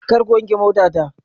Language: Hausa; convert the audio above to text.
Kar ku wanke motata.